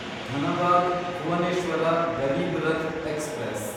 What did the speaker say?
Dhanbad Bhubaneswar Garib Rath express